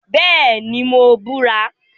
Bẹẹni, Mo bura